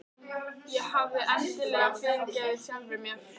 Ég hafði endanlega fyrirgefið sjálfri mér.